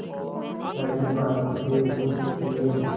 कड़वी बातों के कुछ तेज